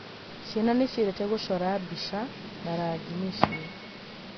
Ciana nĩ ciendete gũcora mbica na rangi mĩciĩ.